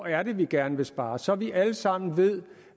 er vi gerne vil spare så vi alle sammen ved